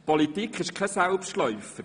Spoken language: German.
Politik ist kein Selbstläufer.